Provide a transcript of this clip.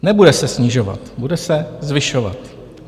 Nebude se snižovat, bude se zvyšovat.